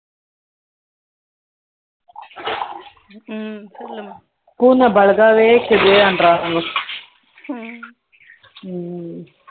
foriegn language